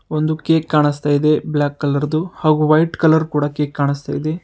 ಒಂದು ಕೇಕ್ ಕಾಣಿಸ್ತಾ ಇದೆ ಬ್ಲಾಕ್ ಕಲರ್ ದು ಹಾಗೂ ವೈಟ್ ಕಲರ್ ಕೊಡ ಕೇಕ್ ಕಾಣಿಸ್ತಿದೆ.